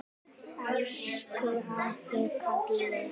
Elsku afi Kalli.